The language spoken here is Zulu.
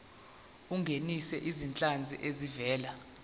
ungenise izinhlanzi ezivela